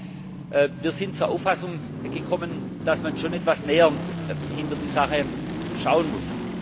Aber wir sind zur Auffassung gekommen, dass man schon etwas näher hinter die Sache schauen muss.